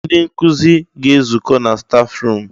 Ee! Ndị nkụzi ga-ezukọ na staf ruum.